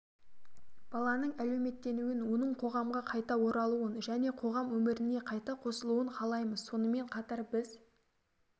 баланың әлеуметтенуін оның қоғамға қайта оралуын және қоғам өміріне қайта қосылуын қалаймыз сонымен қатар біз